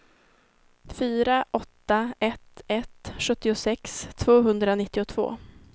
fyra åtta ett ett sjuttiosex tvåhundranittiotvå